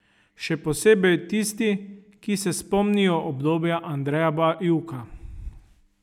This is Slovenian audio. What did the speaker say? Še posebej tisti, ki se spomnijo obdobja Andreja Bajuka.